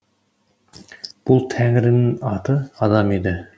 бұл тәңірінің аты адам еді